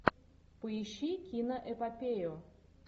поищи киноэпопею